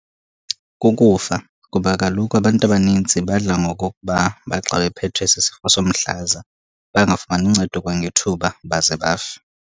Kukufa, kuba kaloku abantu abaninzi badla ngokokuba bathi xa bephethwe sisifo somhlaza bangafumani uncedo kwangethuba baze bafe.